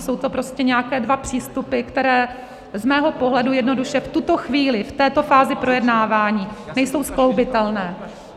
Jsou to prostě nějaké dva přístupy, které z mého pohledu jednoduše v tuto chvíli, v této fázi projednávání, nejsou skloubitelné.